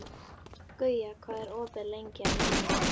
Guja, hvað er opið lengi á mánudaginn?